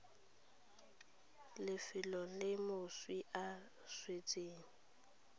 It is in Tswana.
lefelong le moswi a swetseng